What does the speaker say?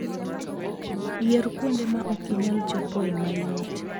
Yier kuonde ma ok inyal chopoe mayot.